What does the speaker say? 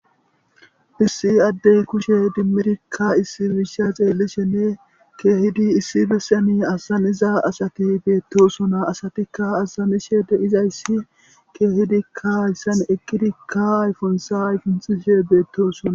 Issi addeyi kushshe idimmidkka issayi issa xellishshe kehiddi issi bessan azzanza asati bettosona asatikka azanish de'izayisi kehiddkka hayssan eqwidikka ayiffunth ayfunxxishe bettosona.